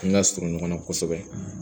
An ka surun ɲɔgɔn na kosɛbɛ